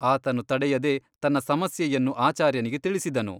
ಆತನು ತಡೆಯದೆ ತನ್ನ ಸಮಸ್ಯೆಯನ್ನು ಆಚಾರ್ಯನಿಗೆ ತಿಳಿಸಿದನು.